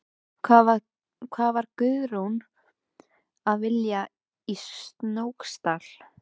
Hvað var Guðrún að vilja í Snóksdal?